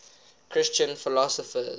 christian philosophers